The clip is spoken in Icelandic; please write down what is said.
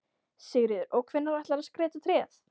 Sigríður: Og hvenær ætlarðu að skreyta tréð?